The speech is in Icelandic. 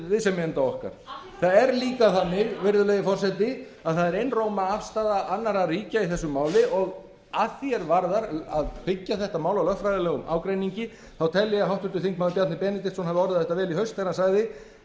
viðsemjenda okkar það er líka þannig virðulegi forseti að það er einróma afstaða annarra ríkja í þessu máli og að því er varðar að byggja þetta mál á lögfræðilegum ágreiningi þá tel ég að háttvirtur þingmaður bjarni benediktsson hafi orðað þetta vel í haust þegar hann sagði